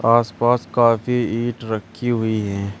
आसपास काफी ईंट रखी हुई हैं।